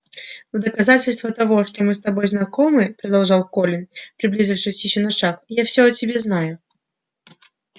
в доказательство того что мы с тобой знакомы продолжал колин приблизившись ещё на шаг я всё о тебе знаю